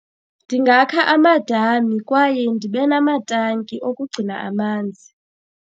Ndingakha amadami kwaye ndibe namatanki okugcina amanzi.